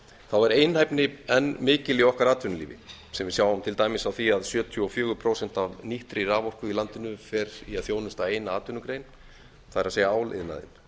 þá er einhæfni enn mikil í okkar atvinnulífi sem við sjáum til dæmis á því að sjötíu og fjögur prósent af nýttri raforku í landinu fer í að þjónusta eina atvinnugrein það er áliðnaðinn